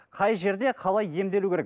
қай жерде қалай емделу керек